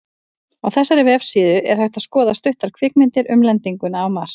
Á þessari vefsíðu er hægt að skoða stuttar kvikmyndir um lendinguna á Mars.